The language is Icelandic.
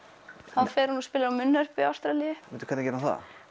þá fer hún og spilar á munnhörpu í Ástralíu bíddu hvernig gerir